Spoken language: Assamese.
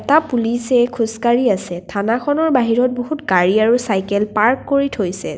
এটা পুলিচে খোজ কাঢ়ি আছে থানাখনৰ বাহিৰত বহুত গাড়ী আৰু চাইকেল পাৰ্ক কৰি থৈছে।